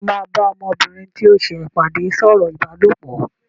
Ṣé o máa bá ọmọbìnrin tí o ṣẹ̀ pàdé sọ̀rọ̀ ìbálòpọ̀?